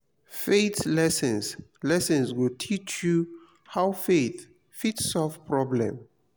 faith lessons lessons go teach you how faith fit solve problem